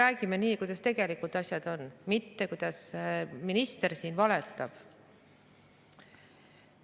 Räägime, kuidas asjad tegelikult on, mitte nagu minister siin valetab.